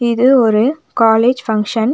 இது ஒரு college function .